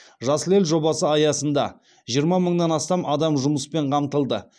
жасыл ел жобасы аясында жиырма мыңнан астам адам жұмыспен қамтылды